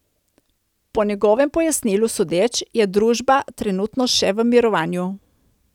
Po njegovem pojasnilu sodeč, je družba trenutno še v mirovanju.